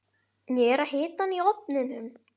Ég er að hita hana í ofninum.